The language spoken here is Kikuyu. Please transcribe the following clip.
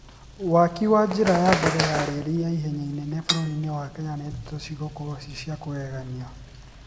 waki wa njira ya mbele ya reri ya ihenya inene bũrũri-inĩ wa kenya nĩ ndeto cigũkorwo ci cia kũgegania